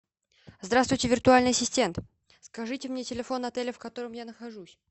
здравствуйте виртуальный ассистент скажите мне телефон отеля в котором я нахожусь